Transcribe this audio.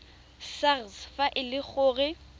sars fa e le gore